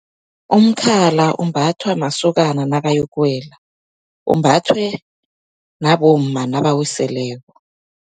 Umkhala umbathwa masokana nakayokuwela, umbathwe nabomma nabawiseleko.